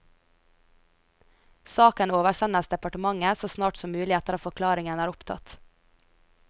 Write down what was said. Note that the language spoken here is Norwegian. Saken oversendes departementet så snart som mulig etter at forklaring er opptatt.